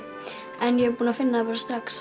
en ég er búinn að finna það bara strax